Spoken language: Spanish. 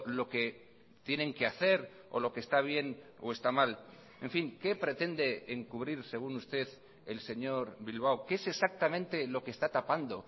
lo que tienen que hacer o lo que está bien o está mal en fin qué pretende encubrir según usted el señor bilbao qué es exactamente lo que está tapando